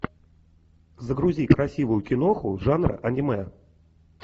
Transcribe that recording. загрузи красивую киноху жанра аниме